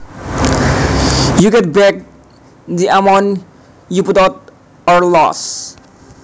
you get back the amount you put out or lost